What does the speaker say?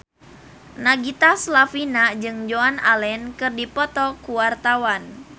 Nagita Slavina jeung Joan Allen keur dipoto ku wartawan